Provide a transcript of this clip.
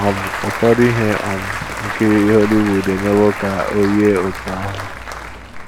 Ụfọdụ ihe um nkiri Hollywood emewo ka o yie otú ahụ.